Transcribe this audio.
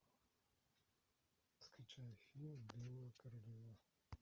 скачай фильм белая королева